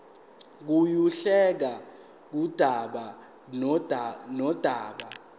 kuyehluka kudaba nodaba